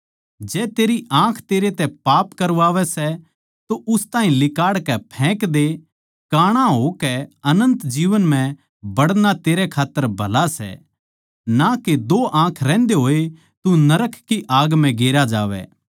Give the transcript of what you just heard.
जै तेरी आँख तेरे तै पाप करवावै सै तो उस ताहीं लिकाड़कै फैक दे काणा होकै अनन्त जीवन म्ह बड़ना तेरै खात्तर भला सै ना के दो आँख रहंदे होए तू नरक की आग म्ह गेरया जावै